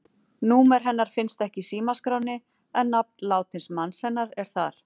Númer hennar finnst ekki í símaskránni, en nafn látins manns hennar er þar.